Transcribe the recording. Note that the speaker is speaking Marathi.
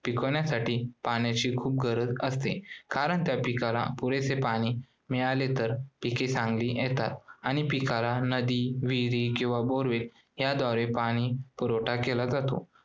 पिकवण्यासाठी पाण्याची खूप गरज असते. कारण त्या पिकांना पुरेसे पाणी मिळाले तर पिके चांगली येतात आणि पिकांना नदी, विहिरी किंवा borewell या द्वारे पाणी पुरवठा केला जातो